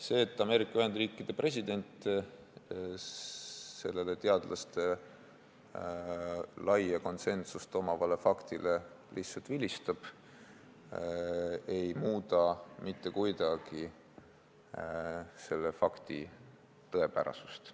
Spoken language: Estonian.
See, et Ameerika Ühendriikide president sellele teadlaste laia konsensust omavale faktile lihtsalt vilistab, ei muuda mitte kuidagi selle tõepärasust.